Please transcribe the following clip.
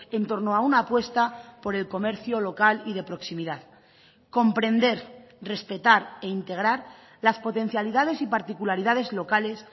en torno a una apuesta por el comercio local y de proximidad comprender respetar e integrar las potencialidades y particularidades locales